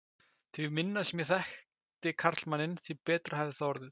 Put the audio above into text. Því minna sem ég þekkti karlmanninn, því betra hefði það orðið.